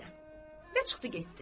Və çıxdı getdi.